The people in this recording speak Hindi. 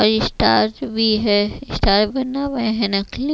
और ये स्टार्च भी है स्टार बना हुआ है नकली--